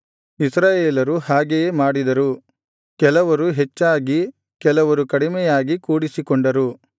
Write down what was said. ಇಸ್ರಾಯೇಲರು ಹಾಗೆಯೇ ಮಾಡಿದರು ಕೆಲವರು ಹೆಚ್ಚಾಗಿ ಕೆಲವರು ಕಡಿಮೆಯಾಗಿ ಕೂಡಿಸಿಕೊಂಡರು